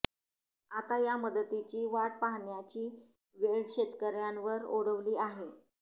आता या मदतीची वाट पाहण्याची वेळ शेतकर्यांवर ओढवली आहे